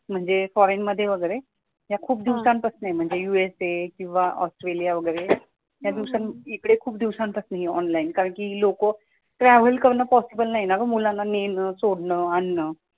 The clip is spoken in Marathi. म्हणजे फॉरेनमध्ये वगैरे या खूप दिवसं पासून आहे म्हणजे यूएसए किंवा ऑस्ट्रेलिया वगैरे इकडे खूप दिवसांपासून आहे ऑनलाईन कारण कि हि लोक ट्रॅव्हल करणं सोपं नाही ना गं मुलांना नेणं आणण सोडणं